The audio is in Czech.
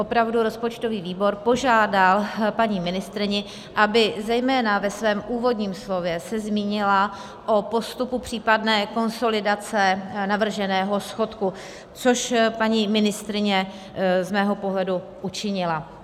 Opravdu rozpočtový výbor požádal paní ministryni, aby zejména ve svém úvodním slově se zmínila o postupu případné konsolidace navrženého schodku, což paní ministryně z mého pohledu učinila.